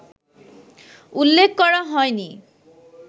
উল্লেখ করা হয়নি